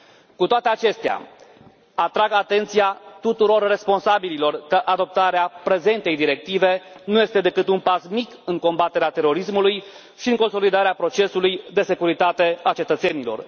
Cu toate acestea, atrag atenția tuturor responsabililor că adoptarea prezentei directive nu este decât un pas mic în combaterea terorismului și în consolidarea procesului de securitate a cetățenilor.